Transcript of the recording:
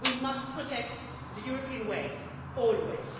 We must protect the European way, always.